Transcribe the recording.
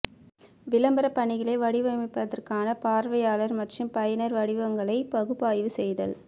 விளம்பர பணிகளை வடிவமைப்பதற்கான பார்வையாளர் மற்றும் பயனர் வடிவங்களை பகுப்பாய்வு செய்தல்